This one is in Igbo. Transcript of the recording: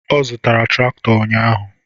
Ọ zụtara traktọ ụnyaahụ.